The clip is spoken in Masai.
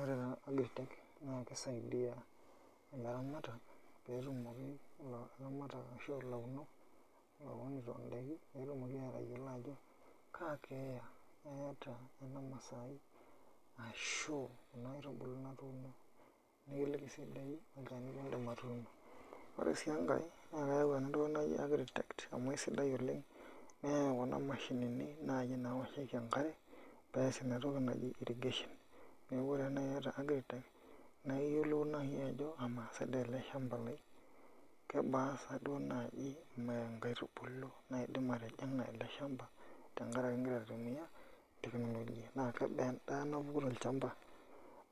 Ore taa agritech naa kisaidia ilaramatak ashu aa ilaunok loounito ndaikin pee etumoki aatayiolo ajo kaa keeya eeta ena masai ashu enaitubului natuuno nikiliki sii doi olchani liindim atuuno ore sii enkae naa keyau ena toki naji agritech amu asidai oleng' neyau kuna mashinini naai naoshieki enkare pee ees ina toki naji irrigation neeku ore taa naai iata agritech naa iyiolou naai ajo kamaa sa naai ele shamba laai kebaa naai inkaitubulu naidim atijing'a ele shamba tenkaraki igira aitumia naa kebaa endaa napuku tele shamba